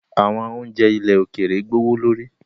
Awọn ounjẹ ilẹ̀ òkèèrè gbowolori